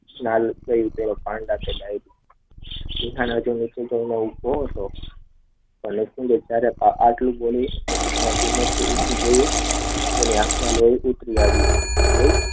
હાલ કોઈ પેલો પાંડા કે ગાઈડ નિકુંજ ત્યારે આટલું બોલી પછી ધીમેથી ઉભો થયો તેની આંખમાં લોહી ઉકડી આવું.